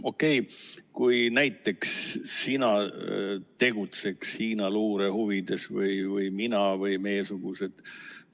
Okei, kui näiteks sina tegutseks Hiina luure huvides või mina või meiesugused.